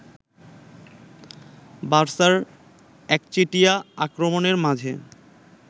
বার্সার একচেটিয়া আক্রমণের মাঝে